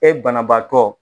E banabaatɔ